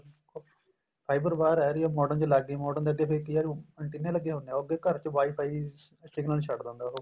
fiber wire ਆ ਰਹੀ ਏ modem ਚ ਲੱਗ ਗਈ modem ਦੇ ਅੱਗੇ ਫੇਰ ਕੀ ਏ ਅਨਟੀਨੇ ਲੱਗੇ ਹੁੰਦੇ ਏ ਉਹ ਅੱਗੇ ਘਰ ਚ WIFI signal ਛੱਡਦਾ ਹੁੰਦਾ ਉਹ